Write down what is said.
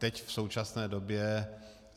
Teď v současné době...